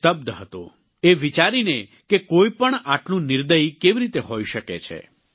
તે સ્તબ્ધ હતો એ વિચારીને કે કોઈ પણ આટલું નિર્દયી કેવી રીતે હોઈ શકે છે